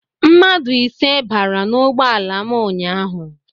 Mmadụ ise bara n'ụgbọala m ụnyaahụ.